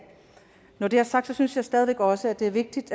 når det er sagt synes jeg stadig væk også at det er vigtigt